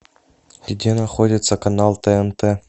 где находится канал тнт